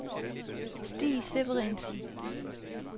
Stig Severinsen